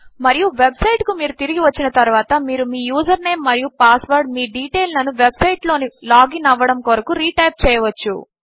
మరియు website కు మీరు తిరిగి వచ్చిన తరువాత మీరు మీ యూజర్ నేమ్ మరియు పాస్వర్డ్ మీ డీటెయిల్ లను వెబ్ సైట్ లోకి లాగిన్ అవ్వడము కొరకు రీ టైప్ చేయవచ్చు